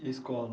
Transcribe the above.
E a escola?